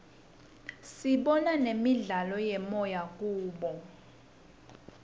sibona nemidlalo yemoya kubo